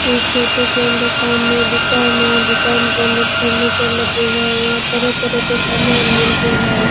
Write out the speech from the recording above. इस फोटो के अंदर सामने दुकान है दुकान के अंदर फर्नीचर लगे हुए है यहाँ तरह तरह के सामान मिलते हैं।